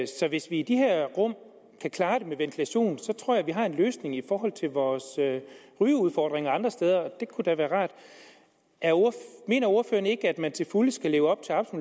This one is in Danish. hvis vi i de her rum kan klare det med ventilation tror jeg vi har en løsning i forhold til vores rygeudfordringer andre steder og det kunne da være rart mener ordføreren ikke at man til fulde skal leve op